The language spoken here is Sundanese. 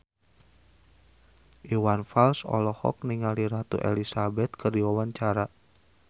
Iwan Fals olohok ningali Ratu Elizabeth keur diwawancara